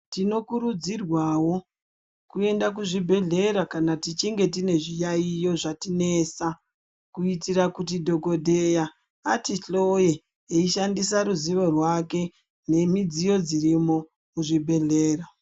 Tinokurudzirwavo kuenda kuzvibhedhlera kana tichinge tine zviyaiyo zvatinesa. Kuitire kuti dhogodheya atihloye eishandisa ruzivo rwake nemidziyo dzirimo muzvibhedhlera.